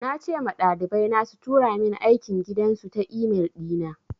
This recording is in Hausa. Na ce ma ɗalibai na su tura min aikin gidan su ta e-mail ɗi na.